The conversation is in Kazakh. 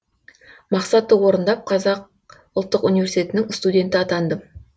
мақсатты орындап қазақ ұлттық университетінің студенті атандым